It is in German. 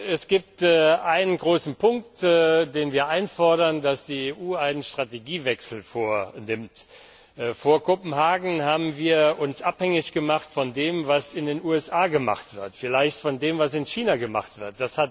Es gibt einen großen Punkt, den wir einfordern dass die EU einen Strategiewechsel vornimmt. Vor Kopenhagen haben wir uns abhängig gemacht von dem, was in den USA gemacht wird, vielleicht von dem, was in China gemacht wird.